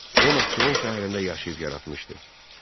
O Naxçıvan şəhərində yaşayıb yaratmışdı.